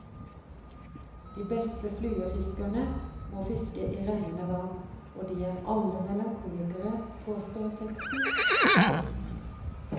De beste fluefiskerne må fiske i rennende vann, og de er alle melankolikere, påstår teksten.